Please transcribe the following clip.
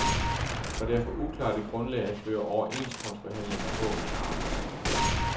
Og det er for uklart et grundlag at føre overenskomstforhandlinger på, mener arbejdsgiverne.